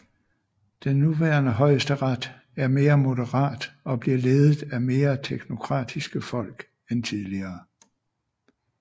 Den nuværende højesteret er mere moderat og bliver ledet af mere teknokratiske folk end tidligere